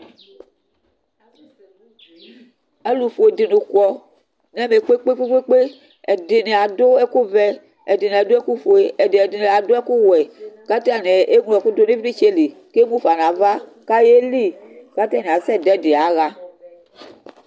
Alʋfue dini kɔ nʋ ɛmɛ kpe kpe kpe kpe Ɛdini adʋ ɛkʋvɛ, ɛdini adʋ ɛkʋfue, ɛdini adʋ ɛkʋwɛ, kʋ atani eŋlo ɛkʋ dʋnʋ ivlitsɛli kʋ emʋfa nʋ ava kʋ ayeli kʋ atani asɛdʋ ɛdi yaxa